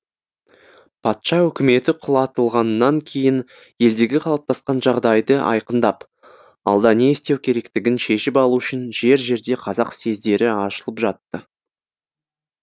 патша өкіметі құлатылғаннан кейін елдегі қалыптасқан жағдайды айқындап алда не істеу керектігін шешіп алу үшін жер жерде қазақ съездері ашылып жатты